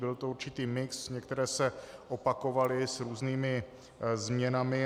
Byl to určitý mix, některé se opakovaly s různými změnami.